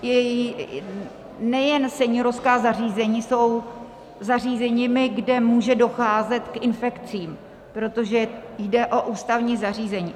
Nejen seniorská zařízení jsou zařízeními, kde může docházet k infekcím, protože jde o ústavní zařízení.